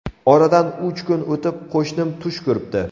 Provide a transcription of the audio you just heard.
Oradan uch kun o‘tib qo‘shnim tush ko‘ribdi.